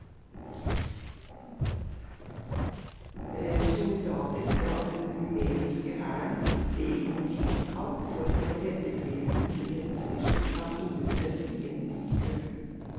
Soldater fra den rumenske hæren ble i går utkalt for å redde flere hundre mennesker som satt innesnødd i en bilkø.